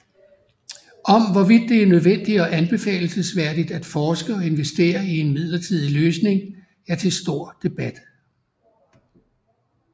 Om hvorvidt det er nødvendigt og anbefalelsesværdigt at forske og investere i en midlertidig løsning er til stor debat